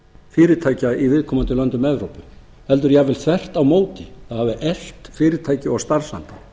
fyrirtækja í viðkomandi löndum evrópu heldur jafnvel þvert á móti það hefur eflt fyrirtækin og starfsanda